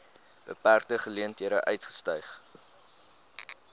beperkte geleenthede uitgestyg